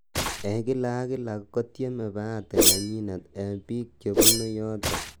"En kila ak kila, kotieme bahati nenyin en bik chebune yoton.''